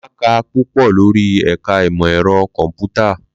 Mà á kà púpọ̀ lórí ẹ̀ka ìmọ̀ ẹ̀rọ kọ̀m̀pútà.